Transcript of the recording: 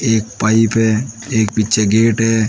एक पाइप है एक पिछे गेट है।